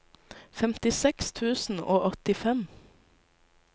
femtiseks tusen og åttifem